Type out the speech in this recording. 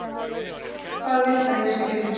Hvað viltu að ég skrifi?